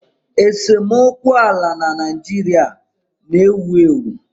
Esemokwu ala na Naịjirịa na-ewu ewu